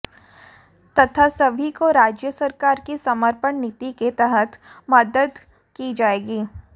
तथा सभी को राज्य सरकार की समर्पण नीति के तहत मदद की जाएगी